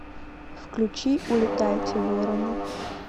включи улетайте вороны